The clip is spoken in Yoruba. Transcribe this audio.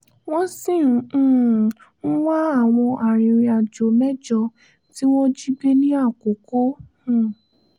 wọ́n sì um ń wá àwọn arìnrìnàjò mẹ́jọ tí wọ́n jí gbé ní àkókò um